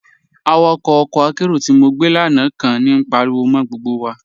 Awàkọ̀ ọkọ́ àkéró tí mo gbẹ́ lánà kàn ní páríwọ̀ mọ́ gbógbo wà.